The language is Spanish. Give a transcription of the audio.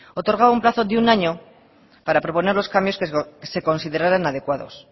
otorgaban un plazo de un año para proponer los cambios que consideraran adecuados